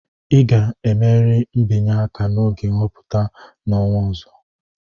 ị ga-emerịrị mbinye aka n'oge nhọpụta n'ọnwa ọzọ!